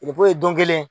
don kelen